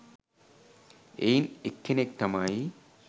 එයින් එක්කෙනෙක් තමයි